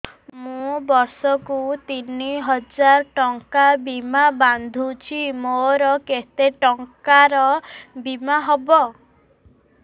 ମୁ ବର୍ଷ କୁ ତିନି ହଜାର ଟଙ୍କା ବୀମା ବାନ୍ଧୁଛି ମୋର କେତେ ଟଙ୍କାର ବୀମା ହବ